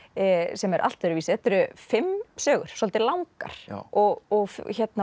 sem er allt öðruvísi þetta eru fimm sögur svolítið langar og